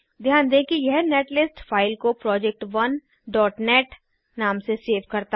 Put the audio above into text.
ध्यान दें कि यह नेटलिस्ट फाइल को project1नेट नाम से सेव करता है